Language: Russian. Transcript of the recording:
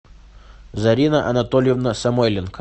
зарина анатольевна самойленко